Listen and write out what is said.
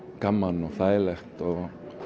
gaman og þægilegt og